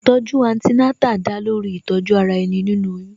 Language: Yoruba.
Ìtọ̀ju Antenatal da lórí Ìtọ̀ju ara ẹni, nínú oyún